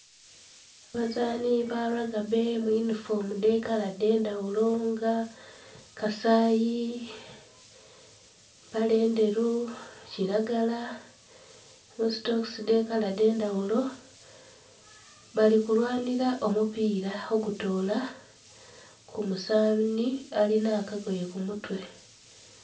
Abazaani ba lagibbe mu yunifoomu dh'ekala dh'endhaghulo nga kasayi, mpale ndheru, kilagala, nhi sitokisi dh'ekala dh'endhaghulo. Bali kulwanhira omupiira ogutoola ku muzaani alina akagoye ku mutwe.